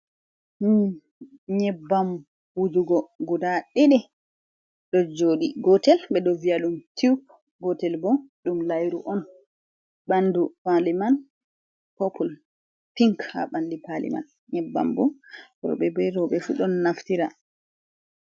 Nyebbam wujugo guda didi do jodi gotel be do viyadum tube gotel bo dum layru on ,bandu pali man popul pink ha bandi pali man nyebbam bo robe be worbe fu don naftira.